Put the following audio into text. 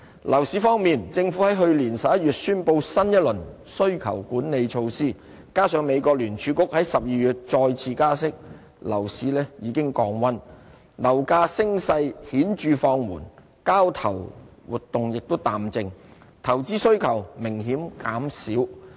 樓市方面，政府於去年11月宣布新一輪需求管理措施，加上美國聯儲局於12月再次加息，樓市已經降溫，樓價升勢顯著放緩，交投活動亦淡靜，投資需求明顯減少。